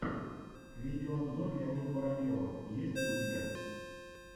видеообзор леонида воробьева есть ли у тебя